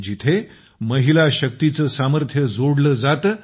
जेथे महिला शक्तीचं सामर्थ्य जोडलं जातं